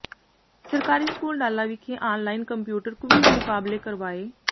ਸਰਕਾਰੀ ਸਕੂਲ ਡਾਲਾ ਵਿਖੇ online computer quiz ਮੁਕਾਬਲੇ ਕਰਵਾਏ